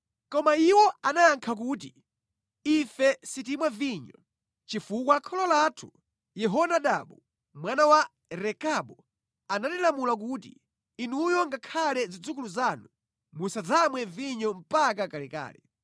Koma iwo anayankha kuti, “Ife sitimwa vinyo, chifukwa kholo lathu Yehonadabu mwana wa Rekabu anatilamula kuti, ‘Inuyo ngakhale zidzukulu zanu, musadzamwe vinyo mpaka kalekale.